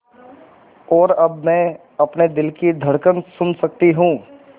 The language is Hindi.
और अब मैं अपने दिल की धड़कन सुन सकती हूँ